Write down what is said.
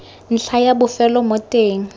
ntlha ya bofelo mo teng